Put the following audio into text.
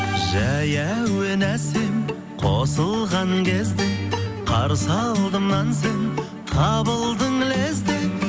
жай әуен әсем қосылған кезде қарсы алдымнан сен табылдың лезде